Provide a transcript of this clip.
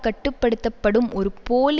கட்டு படுத்த படும் ஒரு போலி